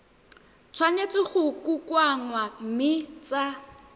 tshwanetse go kokoanngwa mme tsa